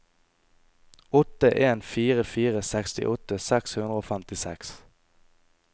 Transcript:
åtte en fire fire sekstiåtte seks hundre og femtiseks